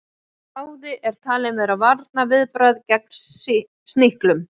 Kláði er talinn vera varnarviðbragð gegn sníklum.